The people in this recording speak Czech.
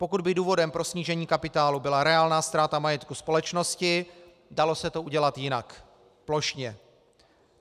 Pokud by důvodem pro snížení kapitálu byla reálná ztráta majetku společnosti, dalo se to udělat jinak, plošně.